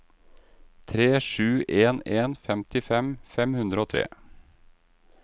tre sju en en femtifem fem hundre og tre